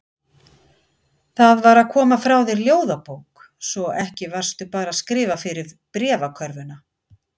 Það var að koma frá þér ljóðabók, svo ekki varstu bara að skrifa fyrir bréfakörfuna.